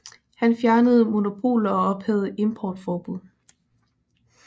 Han fjernede monopoler og ophævede importforbud